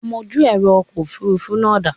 Amojú ẹ̀rọ ọkọ̀ Òfurufú náà da?